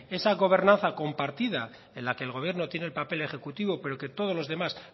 esa gobernanza compartida en la que el gobierno tiene el papel ejecutivo pero que todos los demás